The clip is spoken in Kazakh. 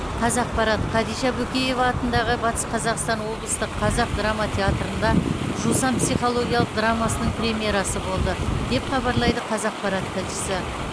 қазақпарат хадиша бөкеева атындағы батыс қазақстан облыстық қазақ драма театрында жусан психологиялық драмасының премьерасы болды деп хабарлайды қазақпарат тілшісі